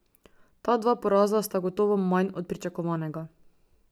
Ta dva poraza sta gotovo manj od pričakovanega.